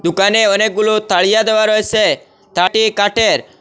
দোকানে অনেকগুলো তাড়িয়া দেওয়া রয়েছে কাটের ।